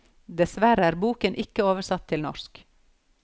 Dessverre er boken ikke oversatt til norsk.